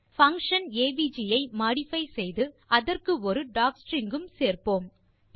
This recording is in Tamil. பங்ஷன் ஏவிஜி ஐ மோடிஃபை செய்து அதற்கு ஒரு டாக்ஸ்ட்ரிங் உம் சேர்ப்போம்